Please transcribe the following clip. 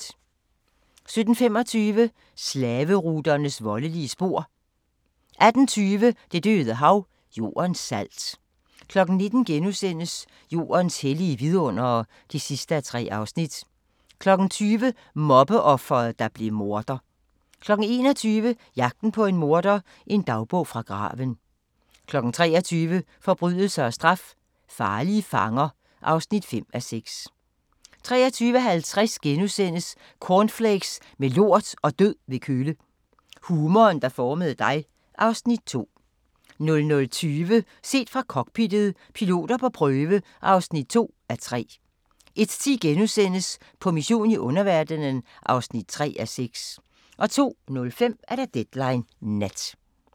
17:25: Slaveruternes voldelige spor 18:20: Det Døde Hav – Jordens salt 19:00: Jordens hellige vidundere (3:3)* 20:00: Mobbeofret, der blev morder 21:00: Jagten på en morder – en dagbog fra graven 23:00: Forbrydelse og straf – farlige fanger (5:6) 23:50: Cornflakes med lort og død ved kølle – humoren, der formede dig (Afs. 2)* 00:20: Set fra cockpittet – piloter på prøve (2:3) 01:10: På mission i underverdenen (3:6)* 02:05: Deadline Nat